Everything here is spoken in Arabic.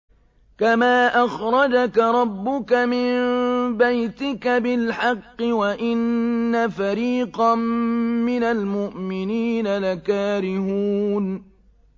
كَمَا أَخْرَجَكَ رَبُّكَ مِن بَيْتِكَ بِالْحَقِّ وَإِنَّ فَرِيقًا مِّنَ الْمُؤْمِنِينَ لَكَارِهُونَ